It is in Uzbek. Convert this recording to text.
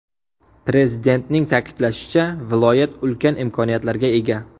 Prezidentning ta’kidlashicha, viloyat ulkan imkoniyatlarga ega.